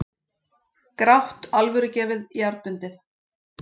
Grátt, alvörugefið, jarðbundið.